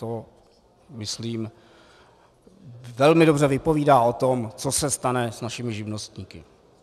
To, myslím, velmi dobře vypovídá o tom, co se stane s našimi živnostníky.